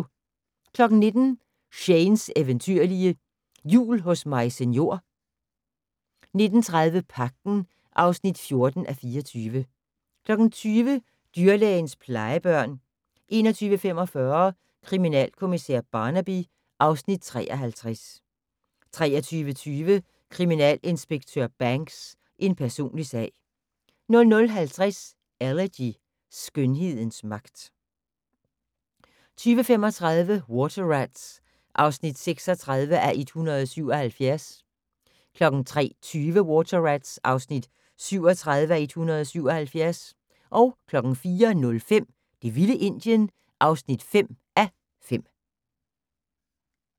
19:00: Shanes eventyrlige Jul hos Maise Njor 19:30: Pagten (14:24) 20:00: Dyrlægens plejebørn 21:45: Kriminalkommissær Barnaby (Afs. 53) 23:20: Kriminalinspektør Banks: En personlig sag 00:50: Elegy - skønhedens magt 02:35: Water Rats (36:177) 03:20: Water Rats (37:177) 04:05: Det vilde Indien (5:5)